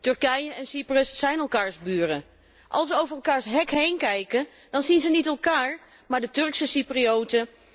Turkije en Cyprus zijn elkaars buren. Als zij over elkaars hek heenkijken dan zien zij niet elkaar, maar de Turkse Cyprioten.